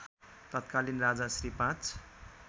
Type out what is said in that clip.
तत्कालीन राजा श्री ५